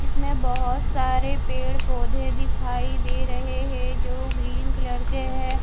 इसमें बहुत सारे पेड़ पौधे दिखाई दे रहे हैं जो ग्रीन कलर के हैं।